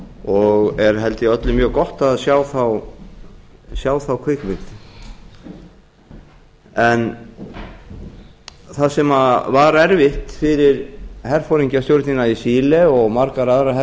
og er held ég öllum mjög gott að sjá þá kvikmynd það sem var erfitt fyrir herforingjastjórnina í chile og margar aðrar